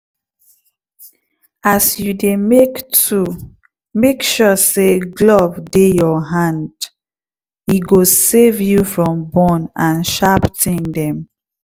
as you dey make tool make sure say glove dey your hande go save you from burn and sharp tin dem